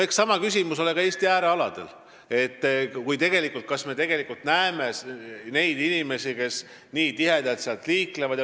Eks sama küsimus ole ka Eesti äärealadel – kas seal on üldse inimesi, kes nii tihedalt liiklevad?